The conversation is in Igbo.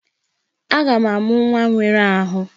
Aga m amụ nwa nwere ahụ.